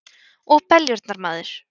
Og beljurnar, maður!